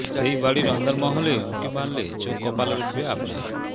সেই বাড়ির অন্দরমহলে উঁকি মারলে চোখ কপালে উঠবে আপনার